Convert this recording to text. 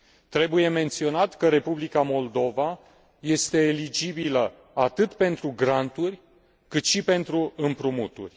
Trebuie menționat că Republica Moldova este eligibilă atât pentru granturi, cât și pentru împrumuturi.